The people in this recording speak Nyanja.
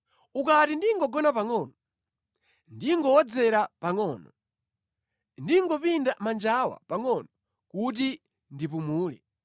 Ukati ndingogona pangʼono, ndingowodzera pangʼono ndingopinda manjawa pangʼono kuti ndipumule,